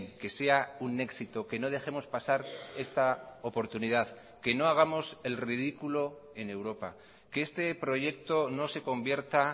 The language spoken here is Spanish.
que sea un éxito que no dejemos pasar esta oportunidad que no hagamos el ridículo en europa que este proyecto no se convierta